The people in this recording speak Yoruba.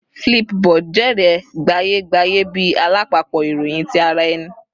Flipboard jèrè gbaye-gbaye bi alapapọ iroyin ti ara ẹni